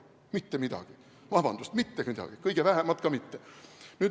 Mitte midagi, vabandust, mitte midagi, kõige vähemat ka mitte.